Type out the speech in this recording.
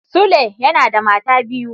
Sule yana da mata biyu.